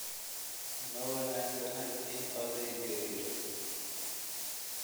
Ma wanaagsana in oday gariiro